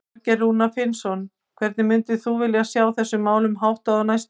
Þorgeir Rúnar Finnsson: Hvernig myndir þú vilja sjá þessum málum háttað á næstunni?